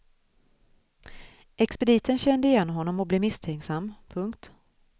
Expediten kände igen honom och blev misstänksam. punkt